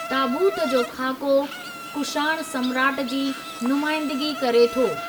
ताबूत जो खाको कुषाण सम्राट जी नुमाइंदिगी करे थो।